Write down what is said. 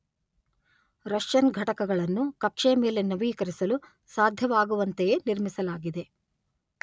Russian ಘಟಕಗಳನ್ನು ಕಕ್ಷೆಯ ಮೇಲೆ ನವೀಕರಿಸಲು ಸಾಧ್ಯವಾಗುವಂತೆಯೇ ನಿರ್ಮಿಸಲಾಗಿದೆ.